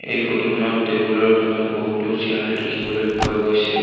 এই ফটো খনত টেবুল ৰ ঘনত বহুতো চিয়াৰ দেখিবলৈ পোৱা গৈছে।